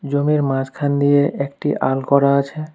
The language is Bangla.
জমির মাঝখান দিয়ে একটি আল করা আছে।